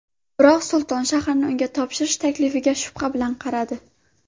Biroq Sulton shaharni unga topshirish taklifiga shubha bilan qaradi.